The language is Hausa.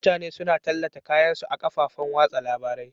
Mutane suna tallata kayan su a kofofin wasa labari.